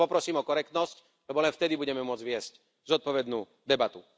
Takže Vás poprosím o korektnosť, lebo len vtedy budeme môcť viesť zodpovednú debatu.